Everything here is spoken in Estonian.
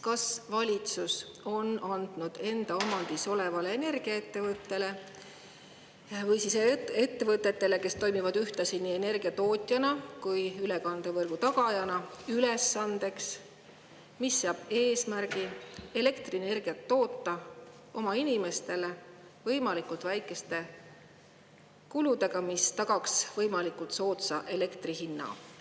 Kas valitsus on andnud enda omandis olevale energiaettevõttele või ettevõtetele, kes toimivad ühtlasi nii energiatootjana kui ülekandevõrgu tagajana, ülesande seada eesmärk toota oma inimestele elektrienergiat võimalikult väikeste kuludega, mis tagaks võimalikult soodsa elektri hinna?